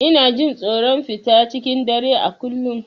Ina jin tsoron fita cikin dare a kullum.